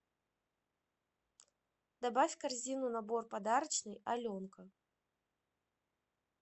добавь в корзину набор подарочный аленка